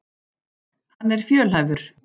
Hann er fjölhæfur.